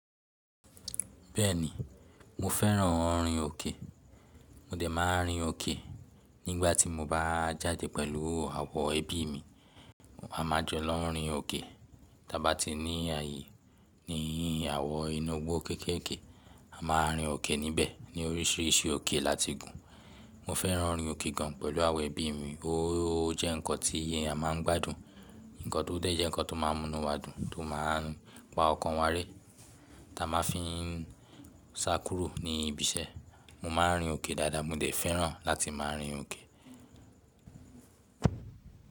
Bẹ́ẹ̀ni, mo fẹ́ràn orin òkè. Mo dẹ̀ máa ń rin òkè. Nígbà tí mo bá jáde pẹ̀lú àwọ̀ ẹbí mi, a máa jọ lọ rin òkè. Tábá ti ní ààyè ní àwọn inu gbó kéékèèké, a máa rin òkè níbẹ̀ ní oríṣìíríṣìí òkè láti gùn. Mo fẹ́ràn ori òkè gan pẹ̀lú àwọn ẹbí mi. Ó jẹ́ ǹkan tí a, a máa ń gbádùn, ǹkan tó dẹ̀ jẹ́ ǹkan tó máa ń múnú wa dùn, tó máa ń pa ọkàn wa ré. Támá fi, sá kúrò ní ibi iṣẹ́, mo máa ń rin òkè dáadáa. Mo dẹ̀ fẹ́ràn láti máa rin òkè.